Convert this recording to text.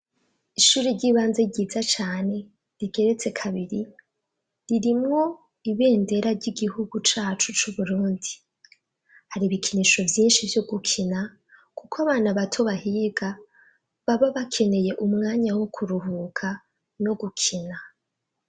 Ishuri ry'ibanze ryiza cane rigeretse kabiri ririmwo ibendera ry'igihugu cacu c'uburundi hari ibikinisho vyinshi vyo gukina, kuko abana bato bahiga baba bakeneye umwanya wo kuruhuka no gukina.